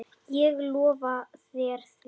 Ég lofa þér því.